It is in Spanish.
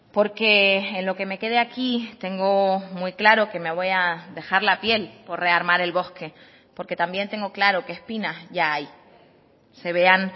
porque en lo que me quede aquí tengo muy claro que me voy a dejar la piel por rearmar el bosque porque también tengo claro que espinas ya hay se vean